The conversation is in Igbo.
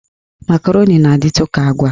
Makaroni na-adịtụ ka agwa.